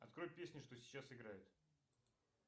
открой песню что сейчас играет